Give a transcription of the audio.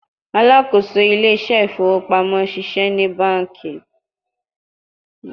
Alakoso Ile ise ifowo pamo ṣiṣẹ ni banki